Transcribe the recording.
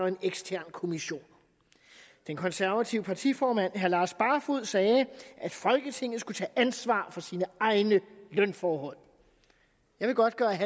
en ekstern kommission den konservative partiformand herre lars barfoed sagde at folketinget skulle tage ansvar for sine egne lønforhold jeg vil godt gøre